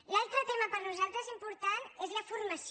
l’altre tema per a nosaltres important és la formació